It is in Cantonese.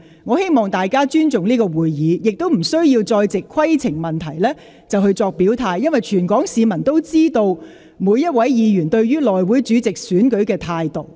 我希望大家尊重立法會會議，不要再藉着提出規程問題來表態，因為全港市民都知道各位議員對內務委員會主席選舉的立場。